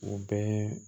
U bɛɛ